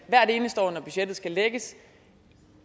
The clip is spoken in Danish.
hvert eneste år når budgettet skal lægges